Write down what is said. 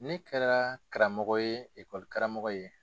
Ne kɛra karamɔgɔ ye karamɔgɔ ye.